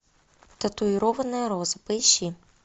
татуированная роза поищи